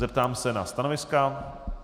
Zeptám se na stanoviska.